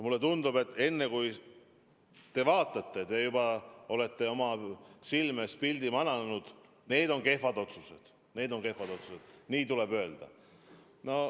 Mulle tundub, et enne, kui te neid vaatate, te juba olete oma silme ette pildi mananud: need on kehvad otsused, need on kehvad otsused, ja nii tuleb öelda.